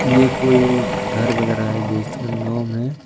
यह कोई घर वगैरा है जिसके नौ में--